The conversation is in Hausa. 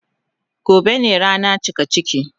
Gobe ne rana cikaciki.